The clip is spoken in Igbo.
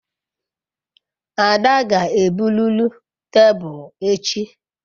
Ada ga-ebruru tebulu echi